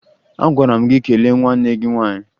Agwara m gị kelee nwanne gị nwaanyị!